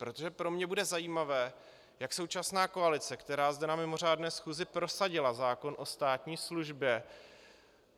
Protože pro mě bude zajímavé, jak současná koalice, která zde na mimořádné schůzi prosadila zákon o státní službě,